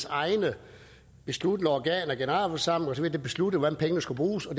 egne besluttende organer generalforsamlinger osv der besluttede hvordan pengene skulle bruges og